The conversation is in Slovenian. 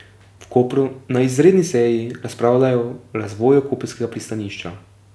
V Kopru na izredni seji razpravljajo razvoju koprskega pristanišča.